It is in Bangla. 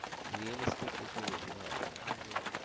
Realistic বেশি ভালো লাগে